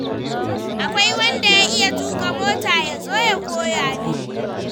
Akwai wanda ya iya tuƙa mota ya zo ya koya min?